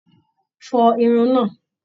Fọ Irun náà!